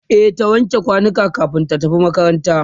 e ta wanke kwanukan kamin ta tafi makaranta